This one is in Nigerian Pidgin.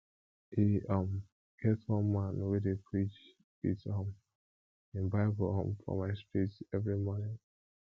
e um get one man wey dey preach wit um him bible um for my street street every morning